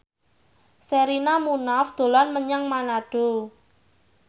Sherina Munaf dolan menyang Manado